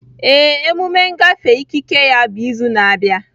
Ee, emume ngafe ikike ya bụ izu na-abịa.